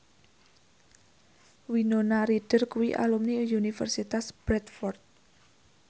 Winona Ryder kuwi alumni Universitas Bradford